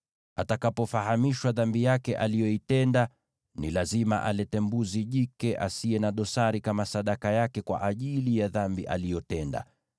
Atakapofahamishwa dhambi yake aliyoitenda, ni lazima alete mbuzi jike asiye na dosari kama sadaka yake kwa ajili ya dhambi aliyotenda.